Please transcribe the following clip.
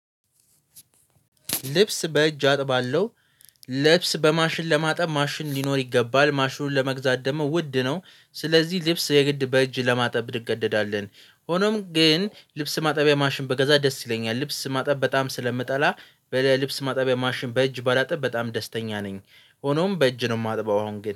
ልብስ በእጅ አጥባለሁ ልብስ በማሽን ለማጠብ ማሽን ሊኖር ይገባል። ማሽኑን ለመግዛት ደግሞ ውድ ነው ስለዚህ ልብስ የግድ በእጅ ለማጠብ ብድገደዳለን። ሆኖም ግን ልብስ ማጠቢያ ማሽን ቢገዛ ደስ ይለኛል። ልብስ ማጠብ በጣም ስለምጠላ በልብስ ማጠቢያ ማሽን በእጅ ባላጥብ በጣም ደስተኛ ነኝ። ሆኖም በእጅ ነው የማጥበው አሁን ግን